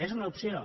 és una opció